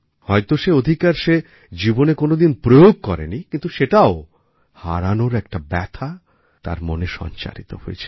হয়ত সেঅধিকার সে জীবনে কোনও দিন প্রয়োগ করেনি কিন্তু সেটাও হারানোর একটা ব্যথা তার মনে সঞ্চারিত হয়েছিল